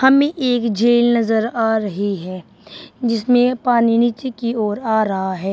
हमें एक झील नजर आ रही है जिसमें पानी नीचे की ओर आ रहा है।